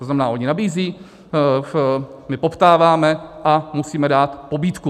To znamená, oni nabízejí, my poptáváme a musíme dát pobídku.